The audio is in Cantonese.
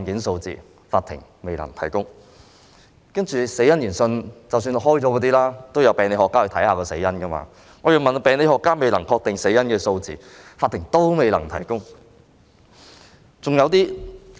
就已進行的死因研訊——即已由病理學家研究死因的案件——我查詢病理學家未能確定死因的案件數字，司法機構都未能提供。